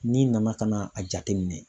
N'i nana ka na a jateminɛ.